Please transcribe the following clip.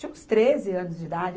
Tinha uns treze anos de idade.